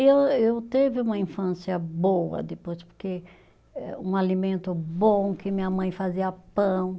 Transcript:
E eu eu, teve uma infância boa depois, porque eh um alimento bom que minha mãe fazia pão.